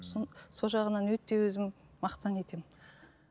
сол жағынан өте өзім мақтан етемін